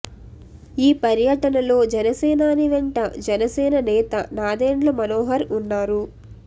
ఈ పర్యటనలో జనసేనాని వెంట జనసేన నేత నాదెండ్ల మనోహర్ ఉన్నారు